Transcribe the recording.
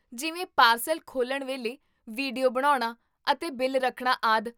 ਜਿਵੇਂ ਪਾਰਸਲ ਖੋਲ੍ਹਣ ਵੇਲੇ ਵੀਡੀਓ ਬਣਾਉਣਾ ਅਤੇ ਬਿੱਲ ਰੱਖਣਾ, ਆਦਿ